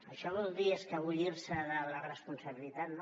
això vol dir escapolir se de la responsabilitat no